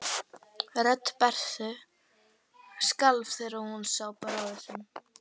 Rödd Berthu skalf þegar hún sá bróður sinn.